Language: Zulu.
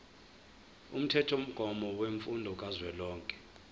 umthethomgomo wemfundo kazwelonke